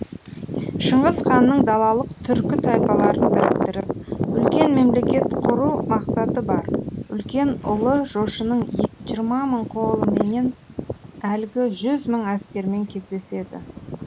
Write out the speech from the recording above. шыңғыс ханның далалық түркі тайпаларын біріктіріп үлкен мемлекет құру мақсаты бар үлкен ұлы жошының жиырма мың қолыменен әлгі жүз мың әскермен кездеседі